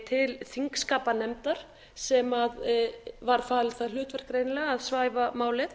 til þingskapanefndar sem var falið það hlutverk greinilega að svæfa málið